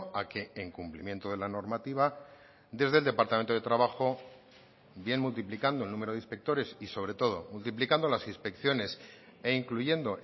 a que en cumplimiento de la normativa desde el departamento de trabajo bien multiplicando el número de inspectores y sobre todo multiplicando las inspecciones e incluyendo